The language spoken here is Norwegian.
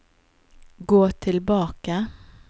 gå tilbake